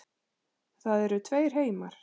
Það eru tveir heimar.